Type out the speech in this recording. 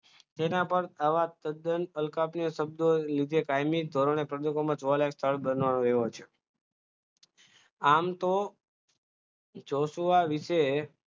તેના પર આવા તદ્દન અલકા કે શબ્દો લીધે કાયમી ધોરણે પબ્લિકમાં જોવાલાયક સ્થળ બનાવે એવા છે આમ તો જોશવા વિશે